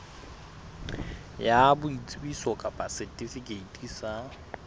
ya boitsebiso kapa setifikeiti sa